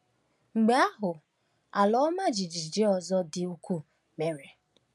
Mgbe ahụ, ala ọma jijiji ọzọ dị ukwuu mere